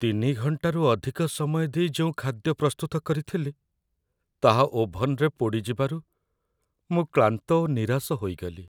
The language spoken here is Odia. ୩ ଘଣ୍ଟାରୁ ଅଧିକ ସମୟ ଦେଇ ଯେଉଁ ଖାଦ୍ୟ ପ୍ରସ୍ତୁତ କରିଥିଲି, ତାହା ଓଭନରେ ପୋଡ଼ିଯିବାରୁ ମୁଁ କ୍ଳାନ୍ତ ଓ ନିରାଶ ହୋଇଗଲି।